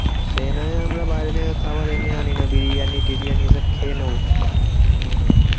সে নয় আমরা বাইরে থেকে খাবার এমনি আনিয়ে বিরিয়ানি টিরিয়ানি এসব খেয়ে নেবো। আনিয়ে নেবো।